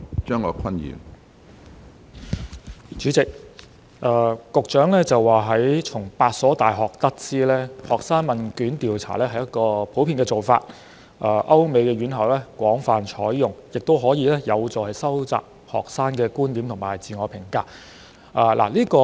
主席，局長聲稱從8所大學得知，學生問卷調查屬普遍做法，亦在歐美高等院校廣泛採用，能有助收集學生觀點和自我評價。